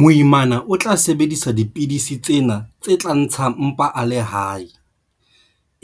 Moimana o tla sebedisa dipidisi tsena tse tla ntsha mpa a le hae,